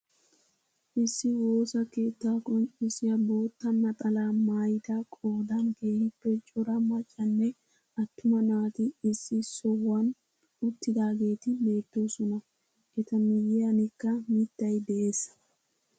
Issi woossaa keettaa qonccisiyaa bootta naxalaa maayida qoodan keehippe cora maccanne attuma naati issi sohuwaan uttidaageti beettoosona. eta miyiyaanikka mittay de'ees.